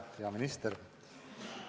Hea minister!